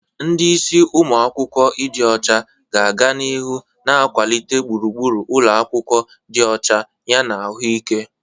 Ndi isi umu akwukwo ịdị ọcha ga-aga n'ihu na-akwalite gburugburu ụlọ akwụkwọ dị ọcha yana ahụike.